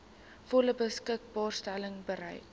volle beskikbaarstelling bereik